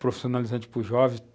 profissionalizante para os jovens.